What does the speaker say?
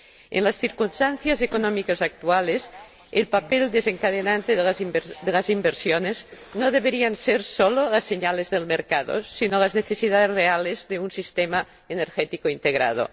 En las circunstancias económicas actuales, el papel desencadenante de las inversiones no deberían ser solo las señales del mercado sino las necesidades reales de un sistema energético integrado.